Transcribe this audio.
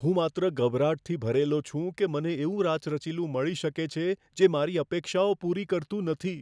હું માત્ર ગભરાટથી ભરેલો છું કે મને એવું રાચરચીલું મળી શકે છે, જે મારી અપેક્ષાઓ પૂરી કરતું નથી.